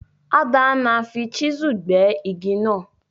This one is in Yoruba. Adana fi chisel gbé igi náà